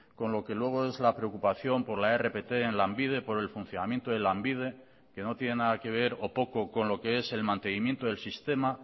con lo que luego es la preocupación por la rpt en lanbide por el funcionamiento de lanbide que no tiene nada que ver o poco con lo que es el mantenimiento del sistema